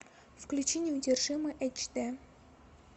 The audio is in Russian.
включи неудержимые эйч дэ